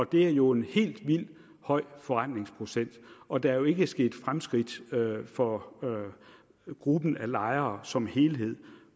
det er jo en helt vildt høj forrentningsprocent og der er jo ikke sket fremskridt for gruppen af lejere som helhed